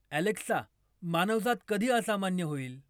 Alexa मानवजात कधी असामान्य होईल